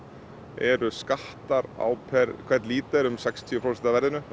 eru skattar á hvern lítra um sextíu prósent